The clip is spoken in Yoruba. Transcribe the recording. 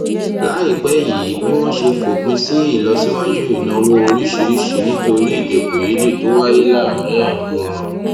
láìpé yìí bí wón ṣe fòpin sí ìlọsíwájú ìnáwó oríṣiríṣi nítorí èdèkòyédè tó wáyé láàárín àwọn